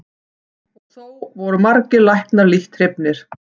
Og þó voru margir læknar lítt hrifnir.